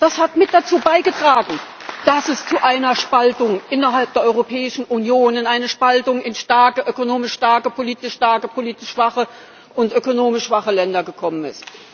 Das hat mit dazu beigetragen, dass es zu einer Spaltung innerhalb der Europäischen Union, einer Spaltung in starke ökonomisch starke, politisch starke und schwache politisch schwache und ökonomisch schwache Länder gekommen ist.